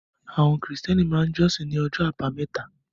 Àwọn Krìstẹ́nì máa jọ́sìn ní ọjọ́ àbámẹ́ta